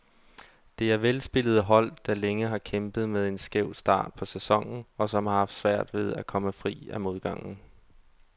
Det er velspillende hold, der længe har kæmpet med en skæv start på sæsonen, og som har haft svært ved at komme fri af modgangen.